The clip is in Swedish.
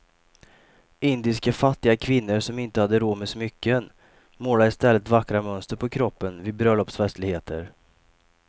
Indiska fattiga kvinnor som inte hade råd med smycken målade i stället vackra mönster på kroppen vid bröllopsfestligheter.